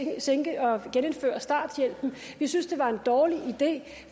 genindføre starthjælpen vi synes det var en dårlig idé